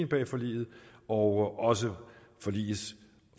bag forliget og også forligets